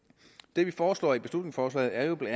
det vi foreslår i beslutningsforslaget er jo bla